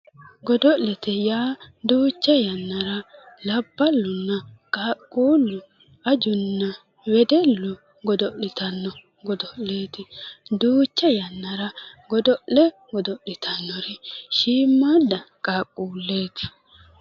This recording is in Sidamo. Godo'late yaa duucha yannara labballunna qaaqquullu ajunna wedellu godo'litanno godo'leeti. Duucha yannara godo'le godo'litannori shiimmaadda qaaqquulleeti.